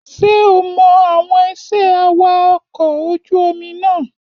Ṣé o mọ àwọn iṣẹ́ awakọ̀ ojú omi náà?